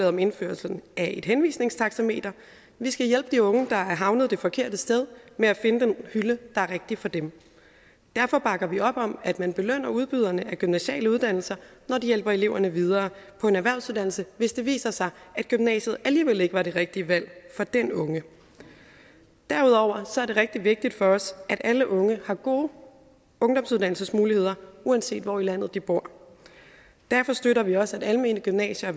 om indførelsen af et henvisningstaxameter vi skal hjælpe de unge der er havnet det forkerte sted med at finde den hylde der er rigtig for dem derfor bakker vi op om at man belønner udbyderne af gymnasiale uddannelser når de hjælper eleverne videre på en erhvervsuddannelse hvis det viser sig at gymnasiet alligevel ikke var det rigtige valg for den unge derudover er det rigtig vigtigt for os at alle unge har gode ungdomsuddannelsesmuligheder uanset hvor i landet de bor derfor støtter vi også at almene gymnasier